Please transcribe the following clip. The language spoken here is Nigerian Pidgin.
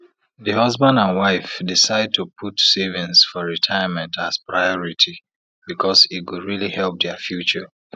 the husband and wife decide to put savings for retirement as priority because e go really help dia future